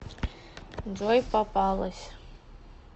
джой попалась